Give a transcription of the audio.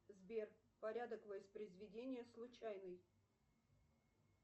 сбер порядок воспроизведения случайный